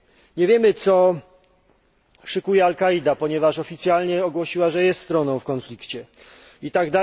Nie wiemy, co szykuje al Kaida, ponieważ oficjalnie ogłosiła, że jest stroną konfliktu itp.,